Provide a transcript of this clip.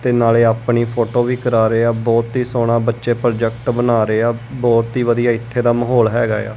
ਤੇ ਨਾਲ਼ੇ ਆਪਣੀ ਫੋਟੋ ਵੀ ਕਰਾ ਰਹੇ ਆ ਬਹੁਤ ਹੀ ਸੋਹਣਾ ਬੱਚੇ ਪ੍ਰੋਜੈਕਟ ਬਣਾ ਰਹੇ ਆ ਬਹੁਤ ਹੀ ਵਧੀਆ ਇੱਥੇ ਦਾ ਮਾਹੌਲ ਹਿਗਾ ਏ ਆ।